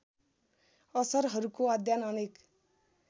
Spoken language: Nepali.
असरहरूको अध्ययन अनेक